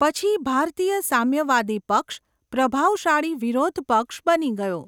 પછી ભારતીય સામ્યવાદી પક્ષ પ્રભાવશાળી વિરોધ પક્ષ બની ગયો.